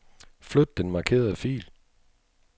Flyt den markerede fil.